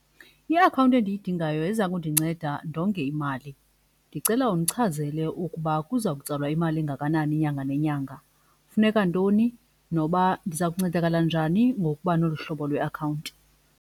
Iakhawunti endiyidingayo yeza kundinceda ndonge imali. Ndicela undichazele ukuba kuza kutsalwa imali engakanani nyanga nenyanga, kufuneka ntoni noba ndiza kuncedakala njani ngokuba nolu hlobo lweakhawunti.